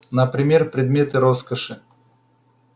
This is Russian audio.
например предметы роскоши